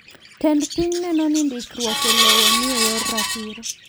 Tend piny neno ni ndikruok elowo ni eyor ratiro.